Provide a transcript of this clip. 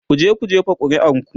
"kuje ku jefa ƙuri'ar ku!